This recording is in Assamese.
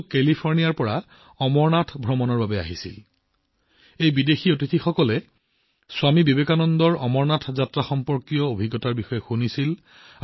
এই বিদেশী অতিথিসকলে অমৰনাথ যাত্ৰাৰ সৈতে জড়িত স্বামী বিবেকানন্দৰ অভিজ্ঞতাৰ বিষয়ে কৰবাত শুনিছিল